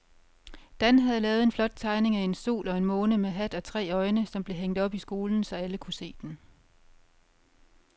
Dan havde lavet en flot tegning af en sol og en måne med hat og tre øjne, som blev hængt op i skolen, så alle kunne se den.